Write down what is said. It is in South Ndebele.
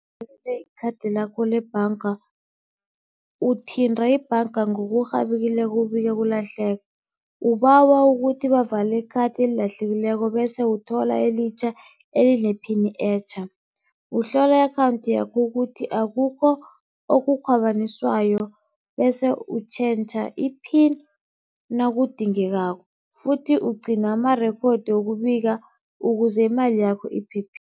ikhathi lakho lebhanga uthinta ibhanga ngokurhabekileko ubike ukulahleka, ubawa ukuthi bavale ikhathi elilahlekileko bese uthola elitjha elinephini etjha. Uhlola i-akhawunthi yakho ukuthi akukho okukhwabaniswayo, bese utjhentjha i-pin nakudingekako futhi ugcina amarekhodi wokubika ukuze imali yakho